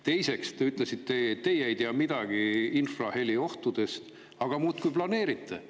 Teiseks, te ütlesite, et teie ei tea midagi infraheli ohtudest, aga ikka muudkui planeerite.